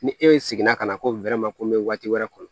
Ni e seginna ka na ko ko n be waati wɛrɛ kɔnɔ